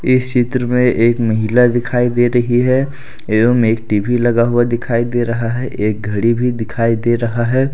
इस चित्र में एक महिला दिखाई दे रही है एवं एक टी_वी लगा हुआ दिखाई दे रहा है एक घड़ी भी दिखाई दे रहा है।